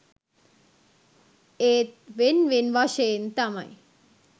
ඒත් වෙන් වෙන් වශයෙන් තමයි